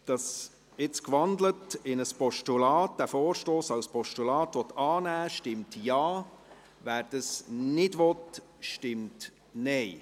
Wer diesen Vorstoss als Postulat annehmen will, stimmt Ja, wer dies nicht will, stimmt Nein.